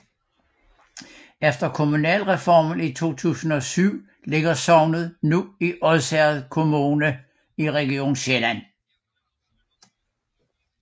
Efter kommunalreformen i 2007 ligger sognet nu i Odsherred Kommune i Region Sjælland